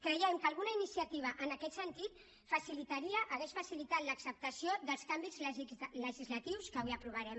creiem que alguna iniciativa en aquest sentit hauria facilitat l’acceptació dels canvis legislatius que avui aprovarem